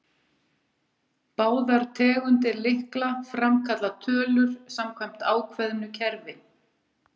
Báðar tegundir lykla framkalla tölur samkvæmt ákveðnu kerfi.